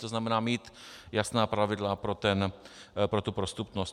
To znamená mít jasná pravidla pro tu prostupnost.